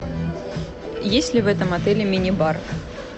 есть ли в этом отеле мини бар